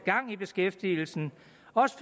også